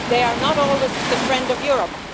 They are not always the friend of Europe.